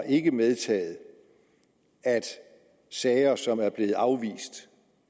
ikke medtaget at sager som er blevet afvist